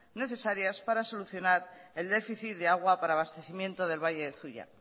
necesarias para solucionar el déficit de agua para abastecimiento del valle de zuia